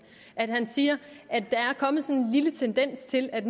han siger at der er kommet en lille tendens til at